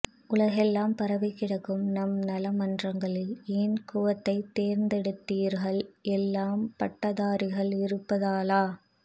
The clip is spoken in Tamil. உலகெல்லாம் பரவிக்கிடக்கும் நம் நலமன்றங்களில் ஏன் குவைத்தை தெர்ந்தெடுதிர்கள் எல்லாம் பட்டதாரிகள் இருப்பதாலா